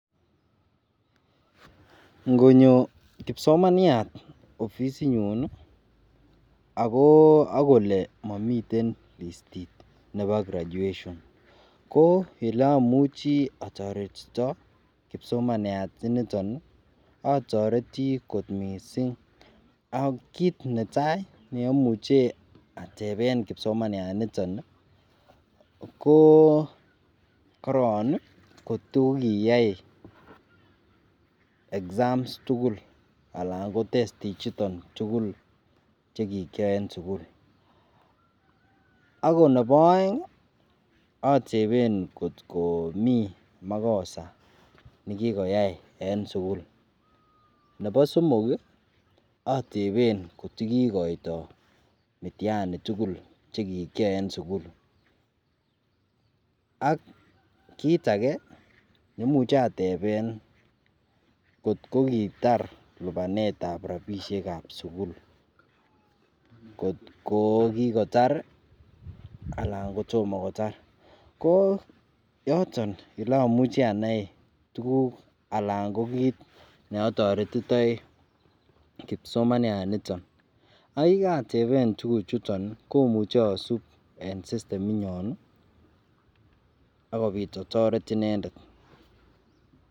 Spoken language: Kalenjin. ngonyo kipsomaniat ofisit nyuun iih ak kole momiten listiit nebo graduation ko eleomuche otoretito kipsomaniat initon iih otoretii koot mising, ak kiit netaai neomuche atebeen kipsomaniat initoon iih koo koroon iih kotogiyaai exams tugul alan kotesti ichuton tugul chegikyoe en sugul, ago nebo oeng otebeen kot komii magosa negigoyaai en sugul, nebo somok iih otebeen kot giikoito mtiani tugul chegikyaai en sugul, ak kiit imuche atebeen kot kogitaar lubaneet ab rabishek ab sugul kot koo kigotaar iih alan kotom kotaar, koo yoton olomuche anai tuguk alaan ko kiit oleotoretitoi kipsomaniat initon, ak yegateben tuguk chuton iih ko omuche asuub en system inyoon ak kobiit otoret inendet.